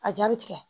A jaabi tigɛ